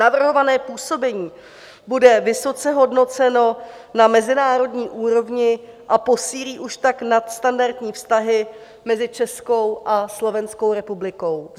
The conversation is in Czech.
Navrhované působení bude vysoce hodnoceno na mezinárodní úrovni a posílí už tak nadstandardní vztahy mezi Českou a Slovenskou republikou.